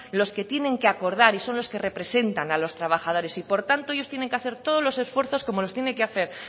los que tienen que acordar y son los que representan a los trabajadores y por tanto ellos tienen que hacer todos los esfuerzos como los tienen que hacer